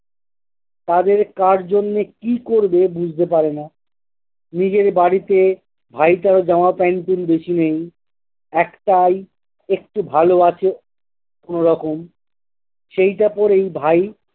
তাদের কার জন্যে কি করবে বুঝতে পারে না। নিজের বাড়িতে ভাইটার জামা pant পুন্ট বেশি নেই। একটাই একটু ভালো আছে কোনোরকম। সেইটা পরেই ভাই